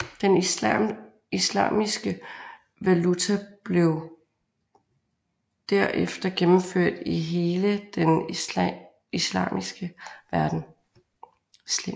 Den islamiske valuta blev derefter gennemført i hele den islamiske verden